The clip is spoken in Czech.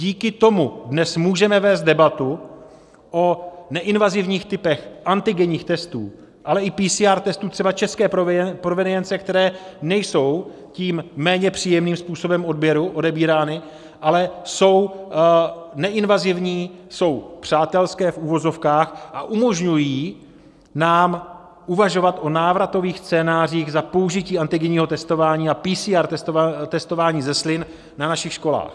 Díky tomu dnes můžeme vést debatu o neinvazivních typech antigenních testů, ale i PCR testů třeba české provenience, které nejsou tím méně příjemným způsobem odběru odebírány, ale jsou neinvazivní, jsou přátelské v uvozovkách a umožňují nám uvažovat o návratových scénářích za použití antigenního testování a PCR testování ze slin na našich školách.